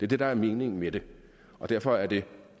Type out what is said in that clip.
det der er meningen med det og derfor er det